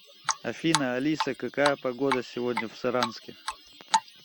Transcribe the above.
афина алиса какая погода сегодня в саранске